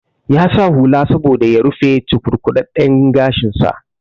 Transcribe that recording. Ya sa hula saboda ya rufe cukurkuɗaɗɗen gashin sa